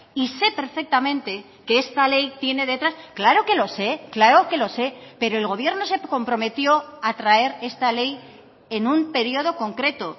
y sé perfectamente que esta ley tiene detrás claro que lo sé claro que lo sé pero el gobierno se comprometió a traer esta ley en un periodo concreto